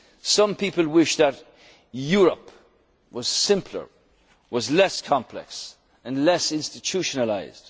be difficult. Some people wish that Europe' was simpler, was less complex, and less institutionalised.